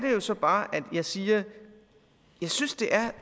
jo så bare jeg siger at jeg synes det er